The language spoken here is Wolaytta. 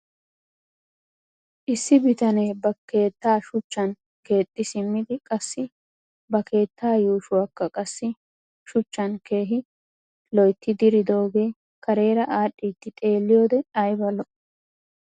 Issi bitanee ba keettaa shuchchan keexxi simmidi qassi ba keettaa yuushuwaakka qassi shuchchan keehi lo'ettidi diridoogee kareera aadhdhiidi xeelliyoode ayba lo'ii.